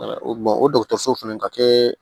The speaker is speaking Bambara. o dɔgɔtɔrɔso fana ka kɛ